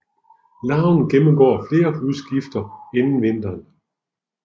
Larven gennemgår flere hudskifter inden vinteren